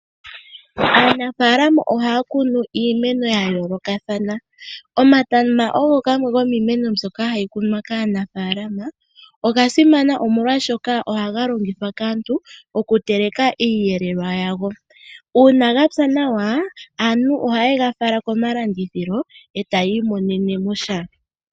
Aanafaalama ohaa kunu iimeno ya yoolokathana. Omatama ogo gamwe gomiimeno mbyoka hayi kunwa kaanafaalama. Oga simana oshoka ohaga longithwa kaantu okuteleka iiyelelwa yawo. Uuna ga pya nawa, aantu ohaye ga fala komalandithilo e ta yi imonene mo sha.